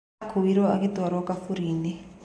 Akuiro agitwaro kabũrinĩ